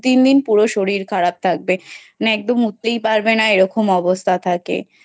দু তিন দিন পুরো শরীর খারাপ থাকবে একদম উঠতেই পারবে না এরকম অবস্থা থাকে।